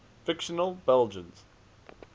fictional belgians